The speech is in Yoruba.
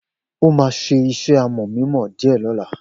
O ma sé iṣẹ́ amò mímọ dìé lóla